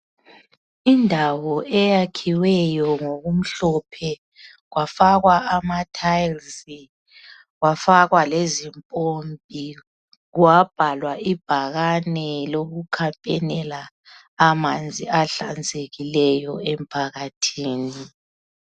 Indawo eyakhiweyo ngokumhlophe, kwafakwa amathayilizi, kwafakwa lezimpompi, kwabhalwa ibakane lokukhampenela amanzi ahlanzekileyo emphakathini.